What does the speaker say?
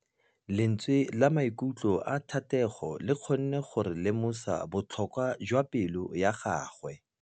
Lentswe la maikutlo a Thategô le kgonne gore re lemosa botlhoko jwa pelô ya gagwe.